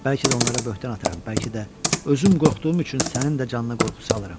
Bəlkə də onlara böhtan atıram, bəlkə də özüm qorxduğum üçün sənin də canına qorxu salıram.